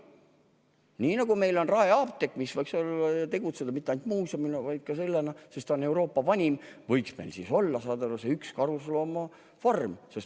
Nii nagu meil on Raeapteek, mis võiks tegutseda mitte ainult muuseumina, vaid ka apteegina, sest ta on Euroopa vanim, võiks meil olla üks karusloomafarm.